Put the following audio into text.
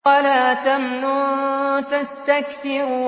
وَلَا تَمْنُن تَسْتَكْثِرُ